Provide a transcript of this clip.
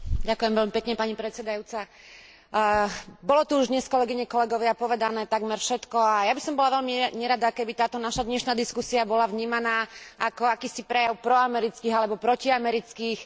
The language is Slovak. Bolo tu už dnes, kolegovia, kolegyne, povedané takmer všetko a ja by som bola veľmi nerada, keby táto naša dnešná diskusia bola vnímaná ako akýsi prejav proamerických alebo proti amerických pocitov jednotlivých členov tejto snemovne.